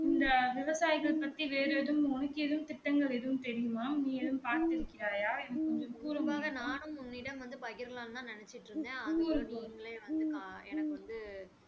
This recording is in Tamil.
இந்த விவசாயிகள் பற்றி வேறு எதும் உனக்கு எதுவும் திட்டங்கள் எதுவும் தெரியுமா நீ எதுவும் பார்த்து இருக்கிறாயா எனக்கு கொஞ்சம் கூறு கூறு கூறு